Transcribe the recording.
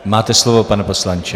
Máte slovo, pane poslanče.